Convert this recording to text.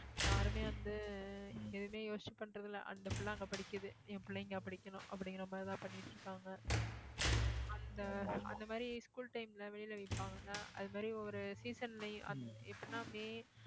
யாருமே வந்து எதுவுமே யோசிச்சு பண்றதில்லை அந்த பிள்ள அங்க படிக்குது என் பிள்ள இங்க படிக்கணும் அப்படிங்கிற மாதிரிதான் பண்ணிட்டிருக்காங்க அந்த அந்த மாதிரி school time ல வெளில விப்பாங்கல்ல அது மாதிரி ஒரு season லயும் அப்~ எப்படின்னா மே